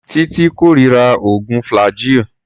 Títí kórira oògùn flaggyl.